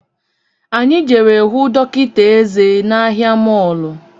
Anyị jere hụ dọkịta eze n’ahia mọlụ